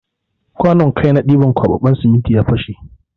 Kwanun kai na ɗiban kwaɓaɓɓen siminti ya fashe.